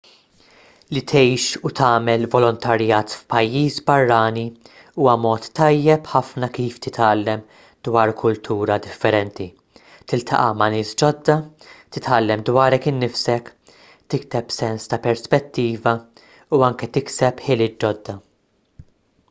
li tgħix u tagħmel volontarjat f'pajjiż barrani huwa mod tajjeb ħafna kif titgħallem dwar kultura differenti tiltaqa' ma' nies ġodda titgħallem dwarek innifsek tikseb sens ta' perspettiva u anke tikseb ħiliet ġodda